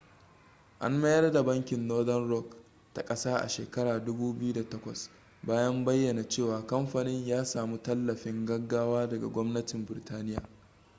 an mayar da bankin northern rock ta kasa a shekara 2008 bayan bayyana cewa kamfanin ya samu tallafin gaggawa daga gwamnatin burtaniya